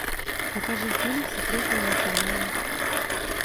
покажи фильм секретные материалы